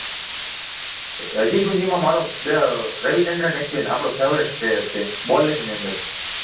હજી સુધીમાં મારો અમ રવિચંદ્રન અશ્વિન આપણો ફેવરિટ પ્લેયર છે બોલિંગની અંદર,